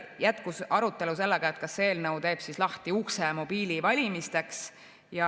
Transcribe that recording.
Jätkus arutelu sellega, kas see eelnõu teeb lahti ukse mobiilivalimisteks.